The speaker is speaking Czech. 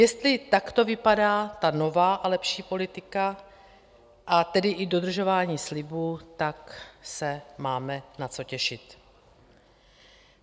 Jestli takto vypadá ta nová a lepší politika, a tedy i dodržování slibů, tak se máme na co těšit.